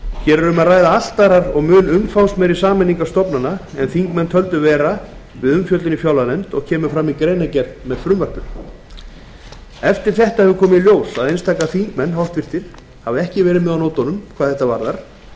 hér er um að ræða allt aðrar og mun umfangsmeiri sameiningar stofnana en þingmenn töldu vera við umfjöllun í fjárlaganefnd og kemur fram í greinargerð með frumvarpinu eftir þetta hefur komið í ljós að einstaka þingmenn hafa ekki verið með á nótunum hvað þetta varðar